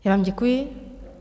Já vám děkuji.